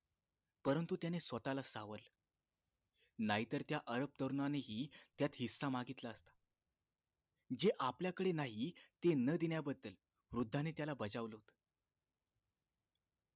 परंतु त्याने स्वतःला सावरले नाहीतर त्या अरब तरुणांनही त्यात हिस्सा मागितला असता जे आपल्याकडे नाही ते न देण्याबद्दल वृद्धाने त्याला बजावले होते